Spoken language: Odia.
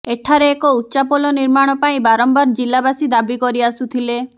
ଏଠାରେ ଏକ ଉଚାପୋଲ ନିର୍ମାଣ ପାଇଁ ବାରମ୍ବାର ଜିଲ୍ଲାବାସୀ ଦାବିକରିଆସୁଥିଲେ